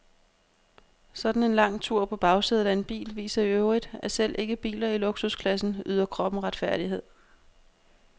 Sådan en lang tur på bagsædet af en bil viser i øvrigt, at selv ikke biler i luksusklassen yder kroppen retfærdighed.